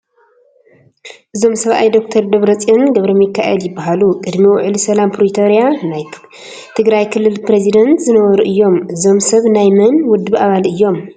እዞም ሰብኣይ ዶክተር ደብረፅዮን ገብረሚካኤል ይበሃሉ፡፡ ቅድሚ ውዕሊ ሰላም ፕሪቶርያ ናይ ትግራይ ክልል ፕሬዝዳንት ዝነበሩ እዮም፡፡ እዞም ሰብ ናይ መን ውድብ ኣባል እዮም?